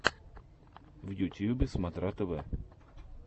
в ютьюбе смотра тв